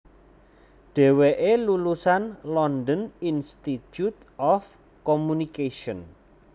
Dheweke lulusan London Institute of Communication